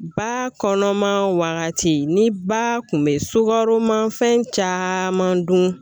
Ba kɔnɔma wagati ni ba kun be sukaroma fɛn caman dun